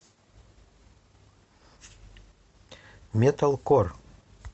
металкор